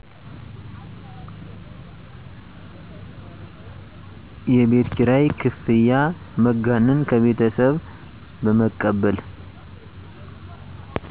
የቤት ኪራይ ክፍያ መጋነን ከቤተሠብ በመቀበል